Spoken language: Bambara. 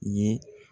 Ye